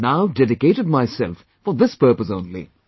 I have now dedicated myself for this purpose only